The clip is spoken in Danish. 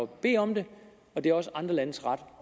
bede om det og det er også andre landes ret